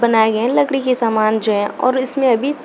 बनाए गए है लकड़ी के समान जो है और इसमे अभी--